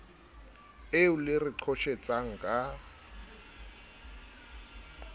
eo le re qhoshetsang ka